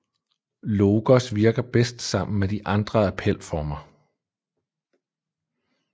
Logos virker bedst sammen med de andre appelformer